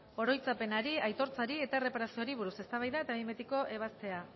oroitzapenari aitortzari eta erreparazioari buruz eztabaida eta behin betiko ebazpena